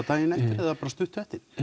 daginn eftir eða stuttu eftir